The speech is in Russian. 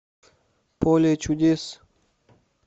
поле чудес